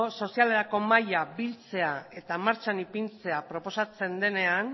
sozialerako mahaia biltzea eta martxan ipintzea proposatzen denean